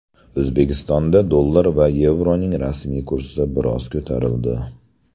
O‘zbekistonda dollar va yevroning rasmiy kursi biroz ko‘tarildi.